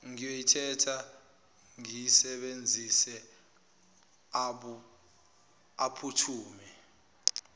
ngiyoyithatha ngiyisebenzise aphuthume